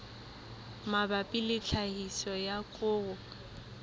mabapi le tlhahiso ya koro